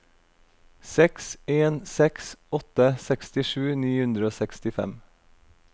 seks en seks åtte sekstisju ni hundre og sekstifem